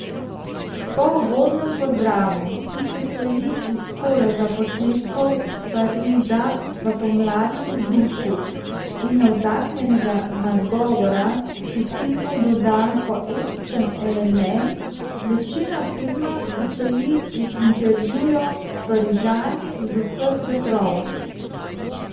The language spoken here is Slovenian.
Po uvodnem pozdravu, ki sestoji iz kolaža posnetkov Pariza v pomladnem vzdušju in navdahnjenega nagovora, ki filmu doda poetičen element, večina filma sestoji iz intervjujev s Parižani z vseh vetrov.